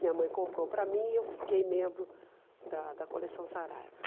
Minha mãe comprou para mim e eu fiquei membro da da coleção Saraiva.